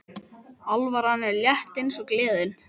Alvaran er létt eins og gleðin.